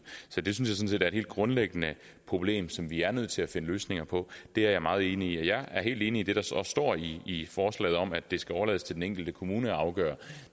så det synes jeg er et helt grundlæggende problem som vi er nødt til at finde løsninger på det er jeg meget enig i jeg er også helt enig i det der står står i forslaget om at det skal overlades til den enkelte kommune at afgøre